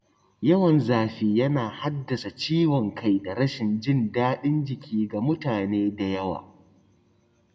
Yawan zafi yana haddasa ciwon kai da rashin jin daɗin jiki ga mutane da yawa.